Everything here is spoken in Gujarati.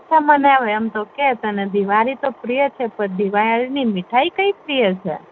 મને એમ તો કે તને દિવાળી તો પ્રિય છે પણ દિવાળી ની કઈ મીઠાઈ પ્રિય છે